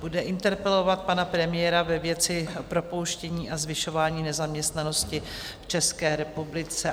Bude interpelovat pana premiéra ve věci propouštění a zvyšování nezaměstnanosti v České republice.